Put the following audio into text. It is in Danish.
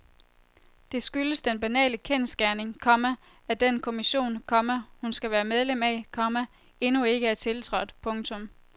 Det skyldes den banale kendsgerning, komma at den kommission, komma hun skal være medlem af, komma endnu ikke er tiltrådt. punktum